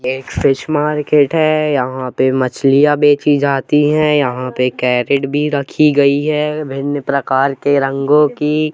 ये fish market है यहां पर मछलियां बेची जाती है यहां पे के रेट भी रखी गई है विभिन्न प्रकार के रंगों की।